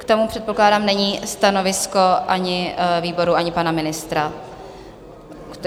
K tomu předpokládám není stanovisko ani výboru, ani pana ministra.